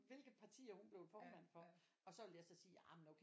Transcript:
Hvilke partier hun blev formand for og så vil jeg så sige jamen okay